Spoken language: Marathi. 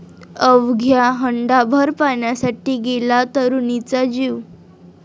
अवघ्या हंडाभर पाण्यासाठी गेला तरुणीचा जीव